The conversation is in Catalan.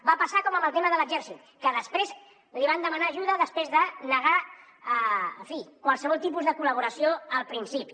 va passar com amb el tema de l’exèrcit que després li van demanar ajuda després de negar en fi qualsevol tipus de col·laboració al principi